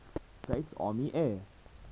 states army air